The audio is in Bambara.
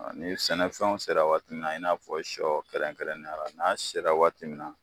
A ni sɛnɛfɛnw sera waati min na i n'a fɔ sɔ kɛrɛnkɛrɛnnenyala n'a sera waati min na